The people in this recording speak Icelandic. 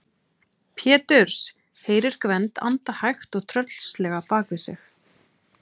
Péturs, heyrir Gvend anda hægt og tröllslega bak við sig.